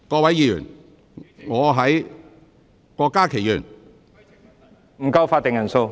會議廳內法定人數不足。